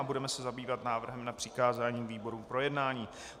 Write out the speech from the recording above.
A budeme se zabývat návrhem na přikázání výborům k projednání.